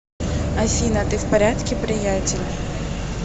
афина ты в порядке приятель